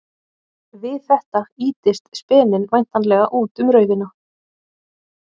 Við þetta ýtist speninn væntanlega út um raufina.